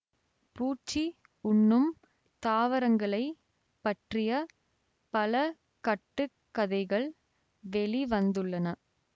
பூச்சி உண்ணும் தாவரங்களைப் பற்றிய பல கட்டு கதைகள் வெளி வந்துள்ளன